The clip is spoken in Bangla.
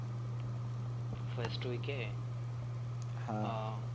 first week A